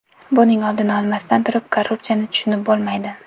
Buning oldini olmasdan turib korrupsiyani tushunib bo‘lmaydi.